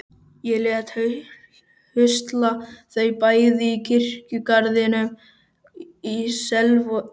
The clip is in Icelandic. Ég lét husla þau bæði í kirkjugarðinum í Selvogi.